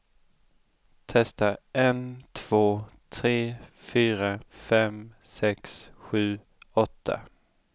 Testar en två tre fyra fem sex sju åtta.